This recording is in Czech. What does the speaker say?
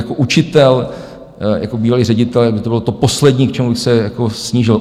Jako učitel, jako bývalý ředitel, to by bylo to poslední, k čemu bych se snížil.